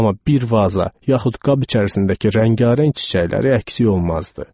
Amma bir vaza, yaxud qab içərisindəki rəngarəng çiçəkləri əksik olmazdı.